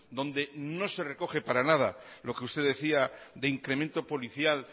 donde no se recoge para nada lo que usted decía de incremento policial